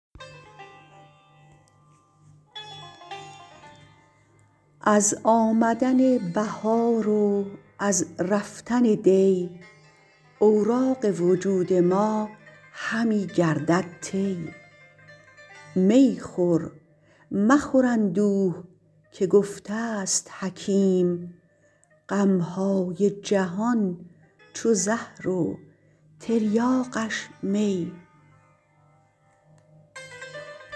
از آمدن بهار و از رفتن دی اوراق وجود ما همی گردد طی می خور مخور اندوه که گفته است حکیم غم های جهان چو زهر و تریاقش می